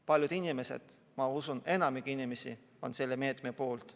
Paljud inimesed – ma usun, et enamik inimesi – on selle meetme poolt.